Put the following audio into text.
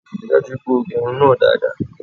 Rí i dájú pé o gẹ irun náà dáadáa